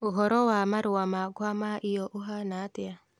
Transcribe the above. ũhoro wa marua makwa ma io ũhanaatĩa